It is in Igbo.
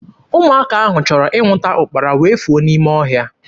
Ụmụaka ahụ chọrọ ịnwụta ụkpara wee fuo n'ime ọhịa.